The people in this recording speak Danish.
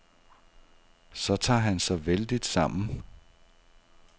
Så tager han sig vældigt sammen.